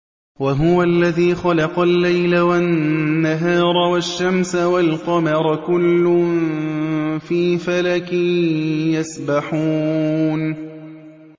وَهُوَ الَّذِي خَلَقَ اللَّيْلَ وَالنَّهَارَ وَالشَّمْسَ وَالْقَمَرَ ۖ كُلٌّ فِي فَلَكٍ يَسْبَحُونَ